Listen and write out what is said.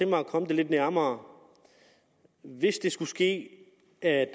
mig at komme det lidt nærmere hvis det skulle ske at